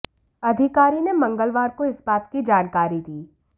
अधिकारी ने मंगलवार को इस बात की जानकारी दी